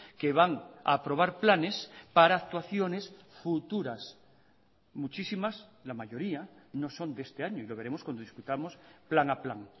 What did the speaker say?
que van a aprobar planes para actuaciones futuras muchísimas la mayoría no son de este año y lo veremos cuando discutamos plan a plan